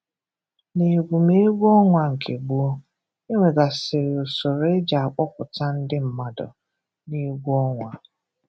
N’egwè̩mgwè̩ ọnwa nke gbọ̀ọ, e nwegasịrị usoro e ji akpọ̀pụ̀ta ndị mmadụ n’egwù ọnwa.